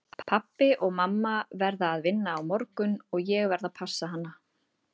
Pabbi og mamma verða að vinna á morgun og ég verð að passa hana.